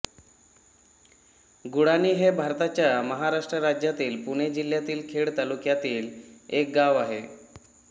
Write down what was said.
गुळाणी हे भारताच्या महाराष्ट्र राज्यातील पुणे जिल्ह्यातील खेड तालुक्यातील एक गाव आहे